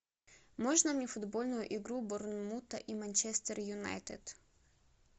можно мне футбольную игру борнмута и манчестер юнайтед